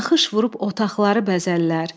Naxış vurub otaqları bəzəllər.